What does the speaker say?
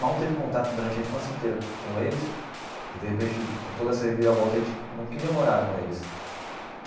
Mal teve contato durante a infância inteira com eles e, de repente, com toda essa reviravolta, a gente não queria morar com eles.